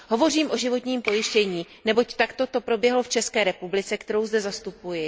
Hovořím o životním pojištění, neboť takto to proběhlo v České republice, kterou zde zastupuji.